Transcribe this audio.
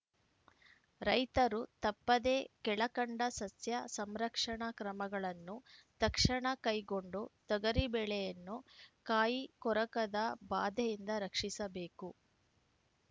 ರೈತರು ತಪ್ಪದೇ ಕೆಳಕಂಡ ಸಸ್ಯ ಸಂರಕ್ಷಣಾ ಕ್ರಮಗಳನ್ನು ತಕ್ಷಣ ಕೈಗೊಂಡು ತೊಗರಿ ಬೆಳೆಯನ್ನು ಕಾಯಿ ಕೊರಕದ ಬಾಧೆಯಿಂದ ರಕ್ಷಿಸಬೇಕು